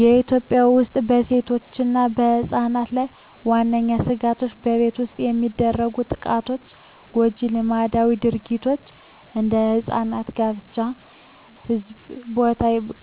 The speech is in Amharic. በኢትዮጵያ ውስጥ በሴቶችና ሕጻናት ላይ ዋነኛ ስጋቶች በቤት ውስጥ የሚደርሱ ጥቃቶች፣ ጎጂ ልማዳዊ ድርጊቶች (እንደ ሕጻናት ጋብቻ) እና በሕዝብ ቦታ